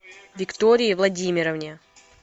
виктории владимировне